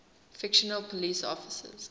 fictional police officers